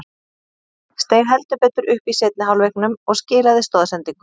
Steig heldur betur upp í seinni hálfleiknum og skilaði stoðsendingu.